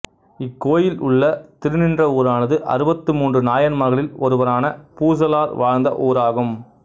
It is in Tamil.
இக்கோயில் உள்ள திருநின்றவூரானது அறுபத்து மூன்று நாயன்மார்களில் ஒருவரான பூசலார் வாழ்ந்த ஊராகும்